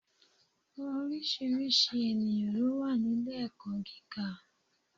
Oríṣiríṣi ènìyàn lówà ni ilé èkó giga